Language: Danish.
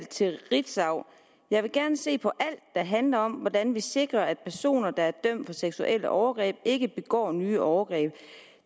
til ritzau jeg vil gerne se på alt der handler om hvordan vi sikrer at personer der er dømt for seksuelle overgreb ikke begår nye overgreb